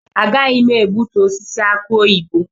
Agaghị m egbutu osisi aki oyibo.